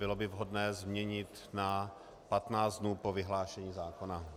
Bylo by vhodné změnit na 15 dnů po vyhlášení zákona.